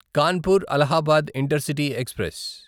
Kanpur Allahabad intercity express